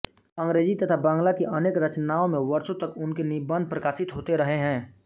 अंग्रेजी तथा बँगला की अनेक रचनाओं में वर्षों तक उनके निबन्ध प्रकाशित होते रहे हैं